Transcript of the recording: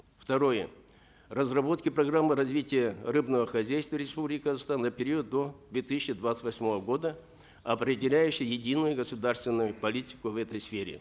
второе разработки программы развития рыбного хозяйства республики казахстан на период до две тысячи двадцать восьмого года определяющей единую государственную политику в этой сфере